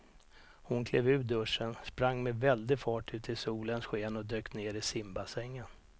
Hon klev ur duschen, sprang med väldig fart ut i solens sken och dök ner i simbassängen.